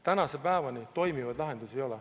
Tänase päevani toimivaid lahendusi ei ole.